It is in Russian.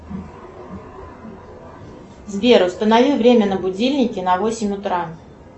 сбер установи время на будильнике на восемь утра